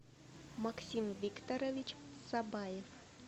максим викторович сабаев